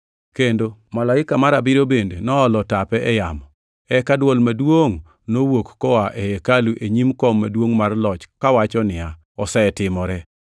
Kendo malaika mar abiriyo bende noolo tape e yamo; eka dwol maduongʼ nowuok koa ei hekalu e nyim kom maduongʼ mar loch kawacho niya, “Osetimore!”